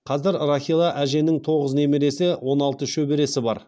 қазір рахила әженің тоғыз немересі және он алты шөбересі бар